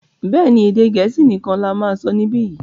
béèni, Èdè Gẹ̀ẹ́sì nikan là má sọ nibiyi.